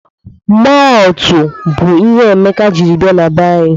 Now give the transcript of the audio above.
Mọọltụ bụ ihe Emeka jiri bia be anyi.